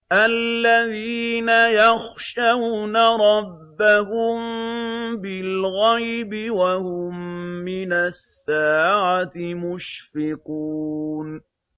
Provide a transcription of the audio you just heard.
الَّذِينَ يَخْشَوْنَ رَبَّهُم بِالْغَيْبِ وَهُم مِّنَ السَّاعَةِ مُشْفِقُونَ